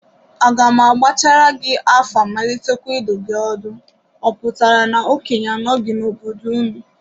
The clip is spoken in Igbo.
Aga m agbachaara gị afa malitekwa idu gi ọdụ, ọ pụtara na okenye anọghị n'obodo unu?